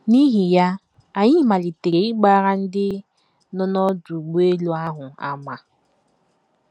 N’ihi ya, anyị malitere ịgbara ndị nọ n’ọdụ ụgbọelu ahụ àmà..